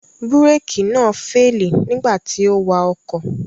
Búrékì náà féèlì nígbà tí ó wa ọkọ̀